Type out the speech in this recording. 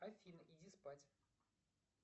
афина иди спать